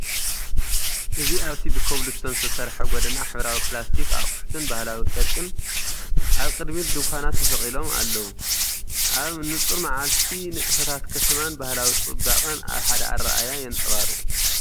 እዚ ኣብቲ ብኮብልስቶን ዝተሰርሐ ጎደና ሕብራዊ ፕላስቲክ ኣቑሑትን ባህላዊ ጨርቅን ኣብ ቅድሚት ድኳናት ተሰቒሎም ኣለዉ፤ ኣብ ንጹር መዓልቲ፡ ንጥፈታት ከተማን ባህላዊ ጽባቐን ኣብ ሓደ ኣረኣእያ የንፀባርቁ።